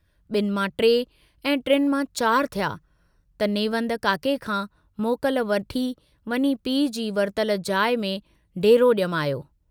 बिन मां टे ऐं टिनि मां चार थिया त नेवंद काके खां मोकल वठी वञी पीउ जी वरतल जाइ में डेरो ॼमायो।